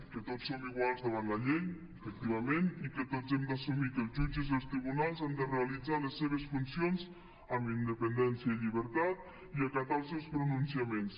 que tots som iguals davant la llei efectivament i que tots hem d’assumir que els jutges i els tribunals han de realitzar les seves funcions amb independència i llibertat i acatar els seus pronunciaments